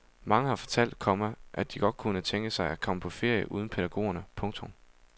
Mange har fortalt, komma at de godt kunne tænke sig at komme på ferie uden pædagogerne. punktum